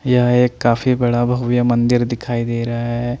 यहा एक काफी बड़ा भव्य मंदिर दिखाई दे रहा है।